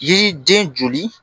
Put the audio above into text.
Yiriden joli